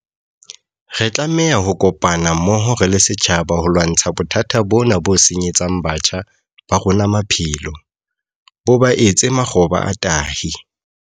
Re tlameha ho kopana mmoho re le setjhaba ho lwantsha bothata bona bo senyetsang batjha ba rona maphelo, bo ba etse makgoba a tahi.